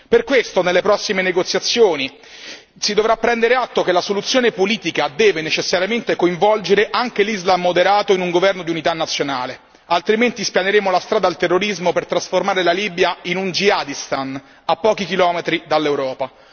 Per questo nelle prossime negoziazioni si dovrà prendere atto che la soluzione politica deve necessariamente coinvolgere anche l'Islam moderato in un governo di unità nazionale, altrimenti spianeremo la strada al terrorismo per trasformare la Libia in un jihadistan a pochi chilometri dall'Europa.